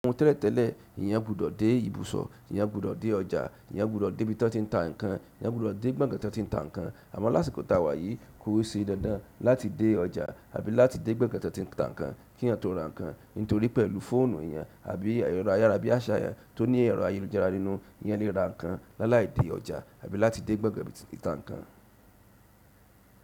Ọ̀hun tẹ́lẹ̀tẹ́lẹ̀, eeyan gbọdọ̀ dé ibùsọ̀, eeyan gbọdọ̀ dé ọjà, eeyan gbọdọ̀ dé ibi tí wọ́n ti ń ta ǹkan, ẹeyan gbọdọ̀ dé gbọ̀gán tan tí ń ta ǹkan. Àmọ́ lásìkò tàwà yìí kò sé dándan láti dé ọjà àbí láti dé gbọ̀gán tan ti n ta ǹkan kí èeyàn tó ra ǹkan. Nítorí pẹ̀lú fóònù èèyàn àbí ẹ̀rọ ayára bí aṣa tò ní ẹ̀rọ ayélujára nínú, eeyan lè ra nǹkan lálàí dé ọjà àbí láti dé gbọ̀gán tí ń ta nǹkan.